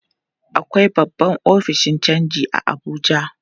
Akwai babban ofishin canji a Abuja.